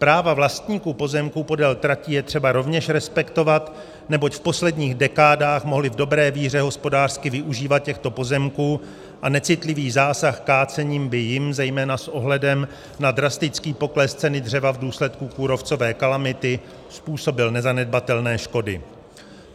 Práva vlastníků pozemků podél tratí je třeba rovněž respektovat, neboť v posledních dekádách mohli v dobré víře hospodářsky využívat těchto pozemků a necitlivý zásah kácení by jim zejména s ohledem na drastický pokles ceny dřeva v důsledku kůrovcové kalamity způsobil nezanedbatelné škody.